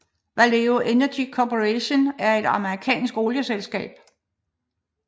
Valero Energy Corporation er et amerikansk olieselskab